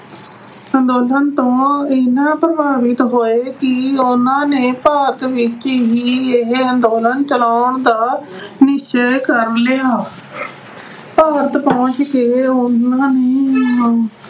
ਅੰਦੋਲਨ ਤੋਂ ਇੰਨਾ ਪ੍ਰਭਾਵਿਤ ਹੋਏ ਕਿ ਉਹਨਾਂ ਨੇ ਭਾਰਤ ਵਿੱਚ ਹੀ ਇਹੇ ਅੰਦੋਲਨ ਚਲਾਉਣ ਦਾ ਨਿਸ਼ਚੇ ਕਰ ਲਿਆ। ਭਾਰਤ ਪਹੁੰਚ ਕੇ ਉਹਨਾਂ ਨੇ